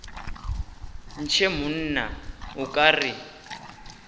ntshe monna o ka re